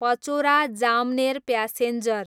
Pachora, Jamner passenger